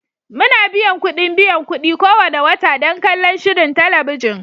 Muna biyan kuɗin biyan kuɗi kowane wata don kallon shirin talabijin